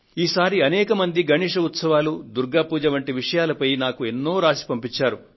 ఈసారి అనేక మంది గణేశ్ ఉత్సవాలు దుర్గా పూజ వంటి విషయాలపై నాకు ఎన్నో రాసి పంపించారు